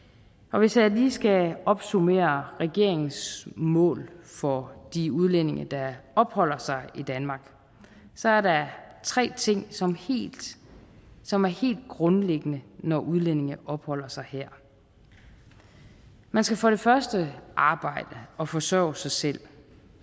hvis jeg lige skal opsummere regeringens mål for de udlændinge der opholder sig i danmark så er der tre ting som er helt grundlæggende når udlændinge opholder sig her man skal for det første arbejde og forsørge sig selv